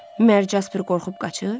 Məgər Casper qorxub qaçır?